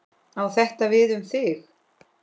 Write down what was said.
Á þetta við um þig?